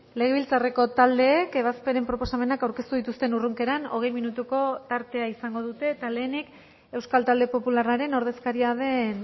legebiltzarreko taldeek ebazpenen proposamenak aurkeztu dituzten urrunkeran hogei minutuko tartea izango dute eta lehenik euskal talde popularraren ordezkaria den